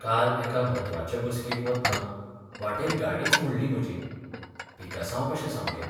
काल एका म्हत्वाचे बसकेक वतना वाटेर गाडीच मोडली म्हजी. पिकासांव कशें सामकें.